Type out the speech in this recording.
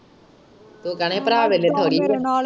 ਤੂੰ ਕਹਿਣਾ ਹੀ ਭਰਾ ਤੇ ਨਸ਼ੇੜੀ ਏ।